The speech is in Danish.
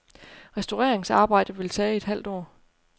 Restaureringsarbejdet vil tage et halvt år.